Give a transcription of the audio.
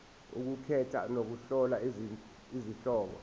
ukukhetha nokuhlola izihloko